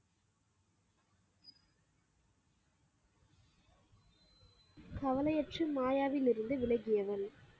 கவலையற்று மாயாவிலிருந்து விலகியவன்.